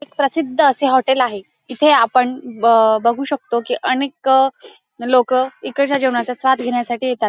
एक प्रसिद्ध असे हॉटेल आहे इथे आपण ब बघू शकतो की अनेक लोक इकडच्या जेवणाचा स्वाद घेण्यासाठी येतात.